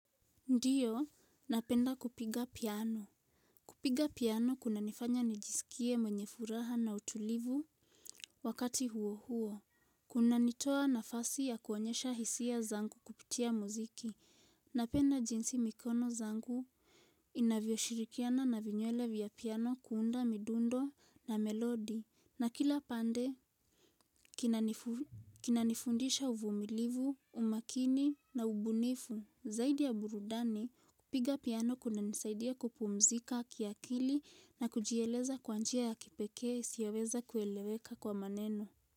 Ndiyo, napenda kupiga piano. Kupiga piano kuna nifanya nijisikie mwenye furaha na utulivu wakati huo huo. Kuna nitoa nafasi ya kuonyesha hisia zangu kupitia muziki. Napenda jinsi mikono zangu inavyo shirikiana na vinywele vya piano kuunda midundo na melodi. Na kila pande, kinani kinanifundisha uvumilivu, umakini na ubunifu. Zaidi ya burudani kupiga piano kuna nisaidia kupumzika kia kili na kujieleza kwa njia ya kipekee siyaweza kueleweka kwa maneno.